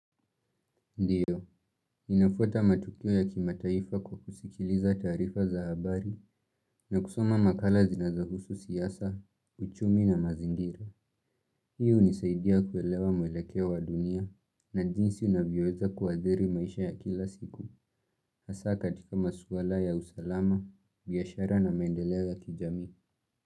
Ndiyo, ninafuata matukio ya kimataifa kwa kusikiliza taarifa za habari na kusoma makala zinazohusu siasa, uchumi na mazingira. Hii hunisaidia kuelewa mwelekeo wa dunia na jinsi unavyoweza kuadhiri maisha ya kila siku. Hasa katika maswala ya usalama, biashara na maendeleo ya kijamii.